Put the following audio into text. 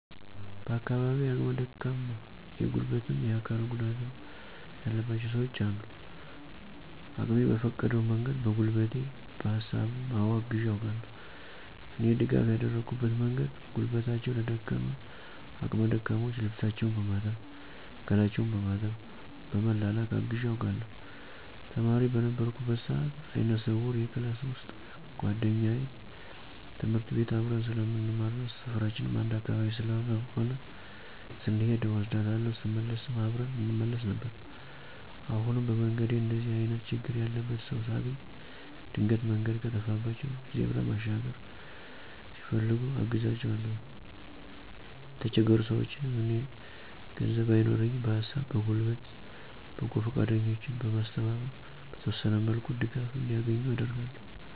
በአካባቢየ አቅመ ደካማ የጉልበትም የአካልም ጉዳትም ያለባቸው ሰውች አሉ። አቅሜ በፈቀደው መንገድ በጉልበቴ በሀሳብም አወ አግዤ አውቃለሁ። እኔ ድጋፍ ያደረኩበት መንገድ ጉልበታቸው ለደከመ አቅመ ደካሞች ልብሳቸውን በማጠብ ገላቸውን በማጠብ በመላላክ አግዤ አውቃለሁ። ተማሪ በነበርኩበት ሰአት አይነ ስውር የክላስ ውሰጥ ጉዋደኛየ ትምህርት ቤት አብረን ስለምንማርና ሰፈራችንም አንድ አካባቢ ስለሆነ ስሔድ እወስዳታለሁ ስመለስም አብረን እንመለስ ነበር። አሁንም በመንገዴ እንደዚህ አይነት ችግር ያለበት ሰው ሳገኝ ድንገት መንገድ ከጠፋባቸው ዜብራ መሻገር ሲፈልጉ አግዛቸዋለሁኝ። የተቸገሩ ሰውችንም እኔ ገንዘብ ባይኖረኝም በሀሳብ በጉልበት በጎ ፈቃደኞችን በማስተባበር በተወሰነ መልኩ ድጋፍ እንዲያገኙ አደርጋለሁ።